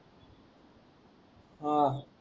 आह